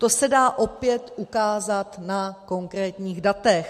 To se dá opět ukázat na konkrétních datech.